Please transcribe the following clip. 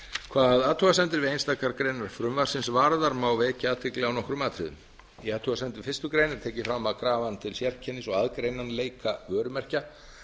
hvað athugasemdir við einstakar greinar frumvarpsins varðar má vekja athygli á nokkrum atriðum við athugasemd við fyrstu grein er tekið fram að krafan til sérkennis og aðgreinanleika vörumerkja